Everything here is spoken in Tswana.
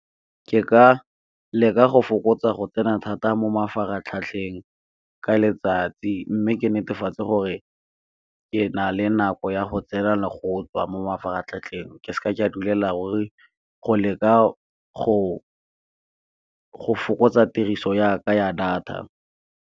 Ke ka leka go fokotsa go tsena thata mo mafaratlhatlheng ka letsatsi, mme ke netefatse gore ke na le nako ya go tsena le go tswa mo mafaratlhatlheng, ke seke ka duela ruri go leka go fokotsa tiriso ya ka ya data.